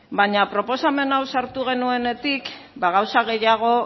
baina proposamen hau sartu geunenetik gauza gehiago